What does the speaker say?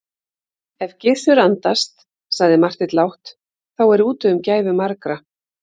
Ef Gizur andast, sagði Marteinn lágt,-þá er úti um gæfu margra.